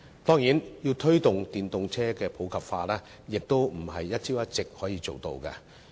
當然，推動電動車普及化並非一朝一夕可以做到的事情。